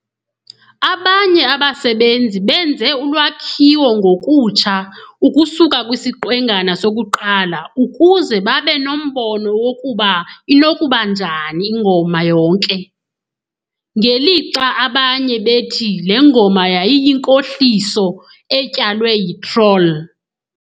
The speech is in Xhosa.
Abanye abasebenzisi benze ulwakhiwo ngokutsha ukusuka kwisiqwengana sokuqala ukuze babe nombono wokuba inokuba njani ingoma yonke, ngelixa abanye bethi le ngoma yayiyinkohliso "etyalwe yitroll".